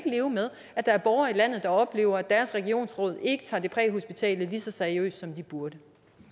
leve med at der er borgere i landet der oplever at deres regionsråd ikke tager det præhospitale lige så seriøst som de burde